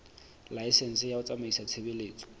laesense ya ho tsamaisa tshebeletso